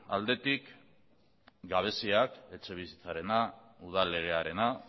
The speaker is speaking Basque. aldetik gabeziak etxebizitzarena udal legearena